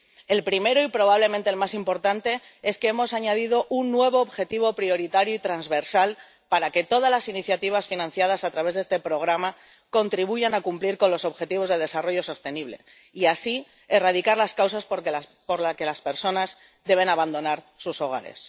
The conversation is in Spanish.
El primero, y probablemente el más importante, es que hemos añadido un nuevo objetivo prioritario y transversal para que todas las iniciativas financiadas a través de este programa contribuyan a cumplir con los Objetivos de Desarrollo Sostenible y así erradicar las causas por las que las personas deben abandonar sus hogares.